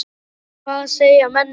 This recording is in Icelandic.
En hvað segja menn um leikinn?